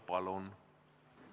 Palun!